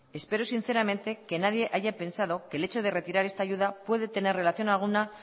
espero sinceramente que nadie haya pensado que el hecho de retirar esta ayuda puede tener relación alguna